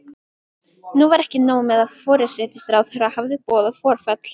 Nú var ekki nóg með að forsætisráðherra hafði boðað forföll.